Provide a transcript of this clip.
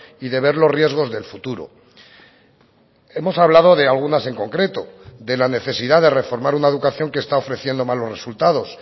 y de ver los riesgos del futuro hemos hablado de algunas en concreto de la necesidad de reformar una educación que está ofreciendo malos resultados